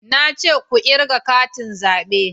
Na ce ku kirga katin zabe